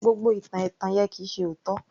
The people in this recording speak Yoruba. Gbogbo ìtàn ẹ̀tàn yẹn kì í ṣe òótọ́